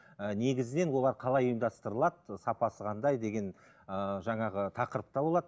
ііі негізінен олар қалай ұйымдастырылады сапасы қандай деген ыыы жаңағы тақырыпта болады